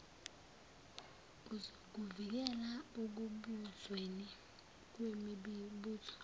uzokuvikela ekubuzweni kwemibuzo